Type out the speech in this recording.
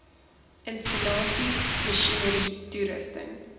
installasies masjinerie toerusting